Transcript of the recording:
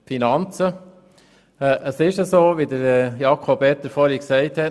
Es verhält sich so, wie es Jakob Etter eben ausgeführt hat.